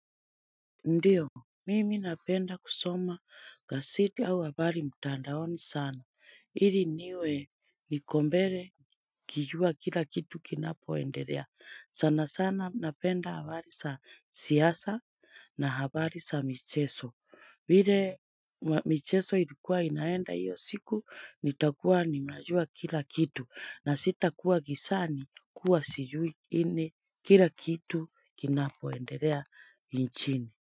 Ndiyo, mimi napenda kusoma gazeti au habari mtandaoni sana. Ili niwe niko mbele nikijua kila kitu kinapo endelea. Sana sana napenda habari za siasa na habari za michezo. Vile michezo ilikuwa inaenda hiyo siku nitakuwa ninajua kila kitu na sitakuwa gizani kuwa sijui any kila kitu kinapooendelea nchini.